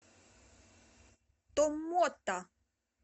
томмота